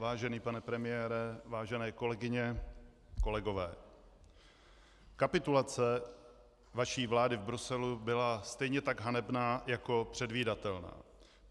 Vážený pane premiére, vážené kolegyně, kolegové, kapitulace vaší vlády v Bruselu byla stejně tak hanebná jako předvídatelná.